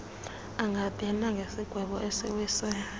angabhena ngesigwebo esiwiswe